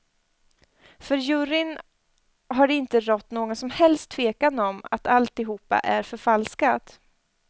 För juryn har det inte rått någon som helst tvekan om att alltihopa är förfalskat.